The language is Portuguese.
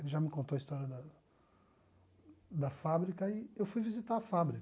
Ele já me contou a história da da fábrica e eu fui visitar a fábrica.